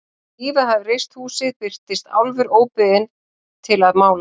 Þegar Ívar hafði reist húsið birtist Álfur óbeðinn til að mála.